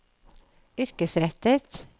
yrkesrettet